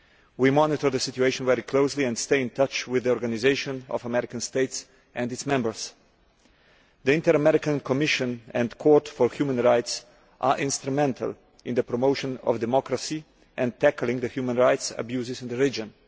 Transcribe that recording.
We are monitoring the situation very closely and are staying in touch with the Organisation of American States and its members. The Inter American Commission and Court for Human Rights are instrumental in the promotion of democracy and the tackling of human rights abuses in the region.